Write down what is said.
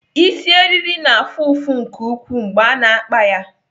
Isi eriri na-afụ ụfụ nke ukwuu mgbe a na-akpa ya.